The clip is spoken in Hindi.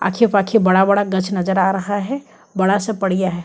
आखे पाखे बड़ा बड़ा गच नज़र आ रहा है बड़ा सा पड़ियाँ है।